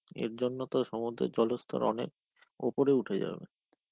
এরজন্যে তো সমুদ্রের জলস্থর অনেক উপরে উঠে যাবে.